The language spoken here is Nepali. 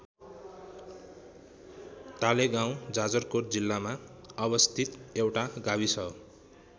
टालेगाउँ जाजरकोट जिल्लामा अवस्थित एउटा गाविस हो।